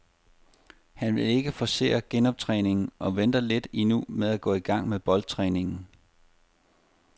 Han vil ikke forcere genoptræningen og venter lidt endnu med at gå i gang med boldtræningen.